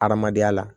Adamadenya la